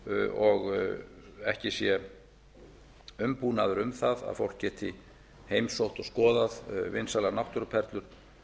og ekki sé umbúnaður um það að fólk geti heimsótt og skoðað vinsælar náttúruperlur